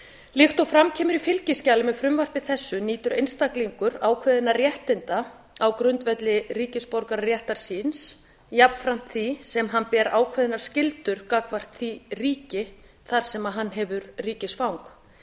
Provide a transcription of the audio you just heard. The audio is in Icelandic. líkt og fram kemur í fylgiskjali með frumvarpi þessu nýtur einstaklingur ákveðinna réttinda á grundvelli ríkisborgararéttar síns jafnframt því sem hann ber ákveðnar skyldur gagnvart því ríki þar sem hann hefur ríkisfang